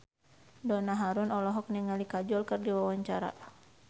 Donna Harun olohok ningali Kajol keur diwawancara